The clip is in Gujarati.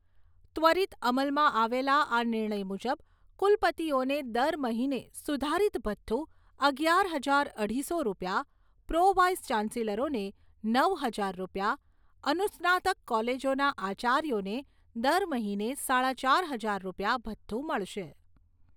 ત્વરીત અમલમાં આવેલા આ નિર્ણય મુજબ કુલપતિઓને દર મહિને સુધારીત ભથ્થુ અગિયાર હજાર અઢીસો રૂપિયા, પ્રો વાઇસ ચાન્સેલરોને નવ હજાર રૂપિયા, અનુસ્નાતક કોલેજોના આચાર્યોને દર મહિને સાડા ચાર હજાર રૂપિયા ભથ્થુ મળશે.